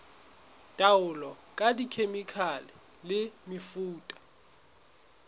taolo ka dikhemikhale le mefuta